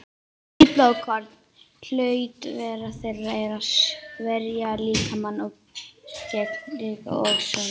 Hvít blóðkorn: hlutverk þeirra er að verja líkamann gegn sýkingum og sjúkdómum.